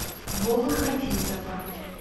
вовы хафизова